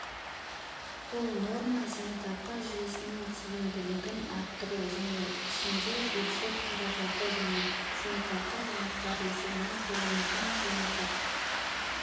бұл норма зейнетақы жүйесінің тиімділігін арттыру оның ішінде бюджет қаражаты және зейнетақы жинақтары есебінен төленетін жиынтық